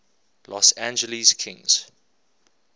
los angeles kings